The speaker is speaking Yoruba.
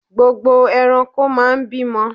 Gbogbo ẹranko máa ń bímọ.